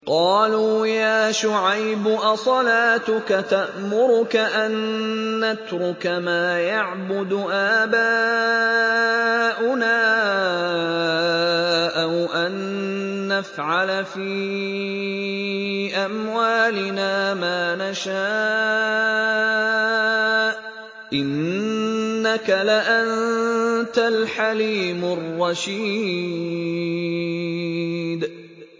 قَالُوا يَا شُعَيْبُ أَصَلَاتُكَ تَأْمُرُكَ أَن نَّتْرُكَ مَا يَعْبُدُ آبَاؤُنَا أَوْ أَن نَّفْعَلَ فِي أَمْوَالِنَا مَا نَشَاءُ ۖ إِنَّكَ لَأَنتَ الْحَلِيمُ الرَّشِيدُ